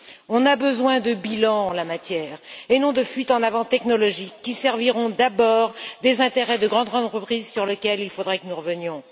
On a besoin de bilans en la matière, et non de fuites en avant technologiques qui serviront d'abord les intérêts de grandes entreprises, sujet sur lequel il faudrait que nous revenions.